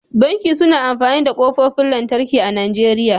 Banki suna amfani da ƙofofin lantarki a Najeriya.